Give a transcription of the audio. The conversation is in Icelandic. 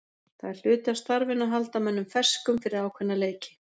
Það er hluti af starfinu að halda mönnum ferskum fyrir ákveðna leiki.